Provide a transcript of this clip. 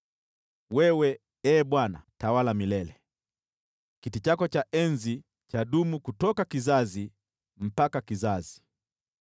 Wewe, Ee Bwana unatawala milele, kiti chako cha enzi chadumu kizazi hadi kizazi.